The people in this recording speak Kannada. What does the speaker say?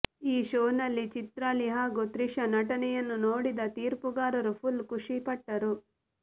ಈ ಷೋ ನಲ್ಲಿ ಚಿತ್ರಾಲಿ ಹಾಗೂ ಶ್ರೀಷಾ ನಟನೆಯನ್ನು ನೋಡಿದ ತೀರ್ಪುಗಾರರು ಫುಲ್ ಖುಷಿ ಪಟ್ಟರು